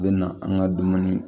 U bɛ na an ka dumuni